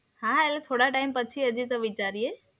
હા, એટલે થોડા ટાઈમ પછી વિચારીએ.